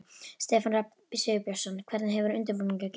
Stefán Rafn Sigurbjörnsson: Hvernig hefur undirbúningur gengið?